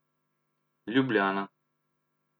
Ljubljana.